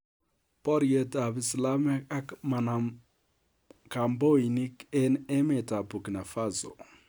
Borietab islamiek ak manamkamboinik enh emet ab burkina faso